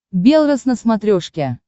белрос на смотрешке